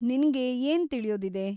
ನಿನ್ಗೆ ಏನ್‌ ತಿಳಿಯೋದಿದೆ?